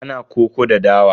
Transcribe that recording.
Ana koko da dawa.